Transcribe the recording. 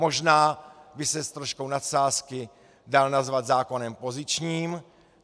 Možná by se s troškou nadsázky dal nazvat zákonem pozičním.